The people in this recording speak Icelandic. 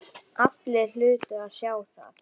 Allir hlutu að sjá það.